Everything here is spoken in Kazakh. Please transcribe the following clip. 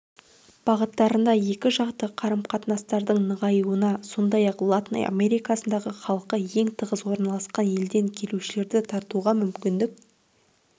бағыттарында екіжақты қарым-қатынастардың нығаюына сондай-ақ латын америкасындағы халқы ең тығыз орналасқан елден келушілерді тартуға мүмкіндік